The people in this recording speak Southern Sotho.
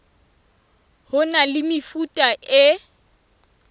ho na le mefuta e